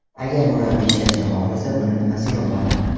Agar murabbiy ishlashni xohlasa, buni nimasi yomon?